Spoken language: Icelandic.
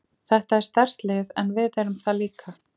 Þetta er sterkt lið en við erum það líka.